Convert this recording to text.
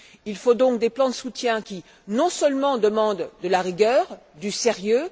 Il faut des plans de soutien qui, non seulement, demandent de la rigueur, du sérieux.